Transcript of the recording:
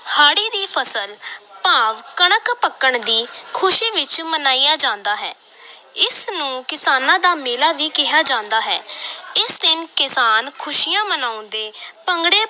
ਹਾੜੀ ਦੀ ਫਸਲ ਭਾਵ ਕਣਕ ਪੱਕਣ ਦੀ ਖ਼ੁਸ਼ੀ ਵਿਚ ਮਨਾਇਆ ਜਾਂਦਾ ਹੈ ਇਸ ਨੂੰ ਕਿਸਾਨਾਂ ਦਾ ਮੇਲਾ ਵੀ ਕਿਹਾ ਜਾਂਦਾ ਹੈ ਇਸ ਦਿਨ ਕਿਸਾਨ ਖ਼ੁਸ਼ੀਆਂ ਮਨਾਉਂਦੇ ਭੰਗੜੇ